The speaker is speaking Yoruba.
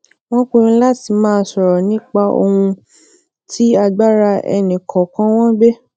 wón pinnu lati maa soro nipa ohun tí agbára ẹnì kòòkan wọn gbé